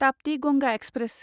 Tapti Ganga express